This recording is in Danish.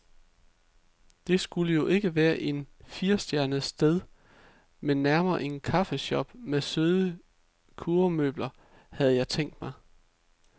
Det skal jo ikke være et firestjernet sted, men nærmere en kaffeshop med søde kurvemøbler, havde jeg tænkt mig.